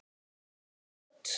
Þessi rödd!